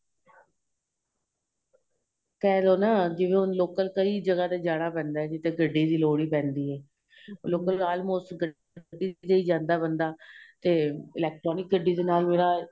ਕਹਿਲੋ ਨਾ ਜਿਵੇਂ ਹੁਣ local ਕਈ ਜਗਾਂ ਤੇ ਜਾਣਾ ਪੈਂਦਾ ਏ ਜਿਥੇ ਗੱਡੀ ਦੀ ਲੋੜ ਪੈਂਦੀ ਏ local almost ਗੱਡੀ ਤੇ ਹੀ ਜਾਂਦਾ ਬੰਦਾ ਤੇ electronic ਗੱਡੀ ਦੇ ਨਾਲ ਮੇਰਾ